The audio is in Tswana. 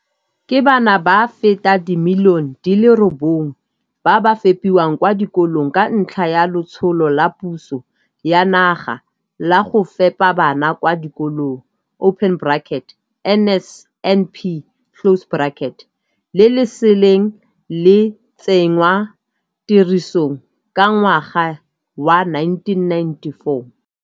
Ke bana ba feta dimilione di le robongwe ba ba fepiwang kwa dikolong ka ntlha ya Letsholo la Puso ya Naga la Go Fepa Bana kwa Dikolong, NSNP, le le seleng le tsenngwa tirisong ka ngwaga wa 1994.